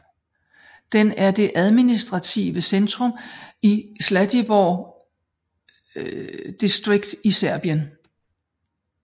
Den er det administrative centrum i Zlatibor District i Serbien